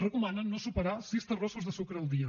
recomanen no superar sis terrossos de sucre el dia